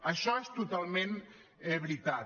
això és totalment veritat